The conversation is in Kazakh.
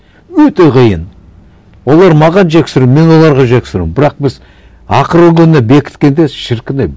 өте қиын олар маған жексұрын мен оларға жексұрын бірақ біз ақырғы күні бекіткенде шіркін ай